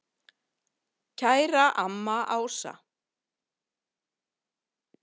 Kæra amma Ása.